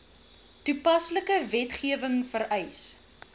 toepaslike wetgewing vereis